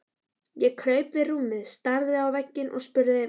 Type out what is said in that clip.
Ég kraup við rúmið, starði á vegginn og spurði